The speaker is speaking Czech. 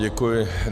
Děkuji.